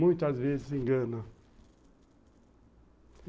Muitas vezes se engana.